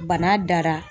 Bana dara